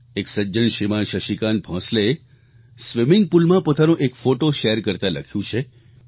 એક સજ્જન શ્રીમાન શશિકાંત ભોંસલેએ સ્વિમિંગ પૂલ માં પોતાનો એક ફોટો શેર કરતા લખ્યું છે કે